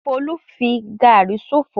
Folú fi gàrí ṣòfò.